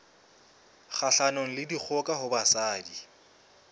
kgahlanong le dikgoka ho basadi